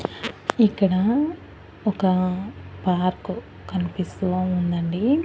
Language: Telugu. ఇక్కడ ఒక పార్కు కన్పిస్తూ ఉందండి.